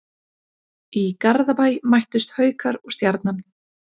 Í Garðabæ mættust Haukar og Stjarnan.